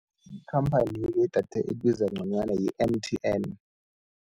Ikhamphani-ke yedatha elibiza nconywana yi-M_T_N.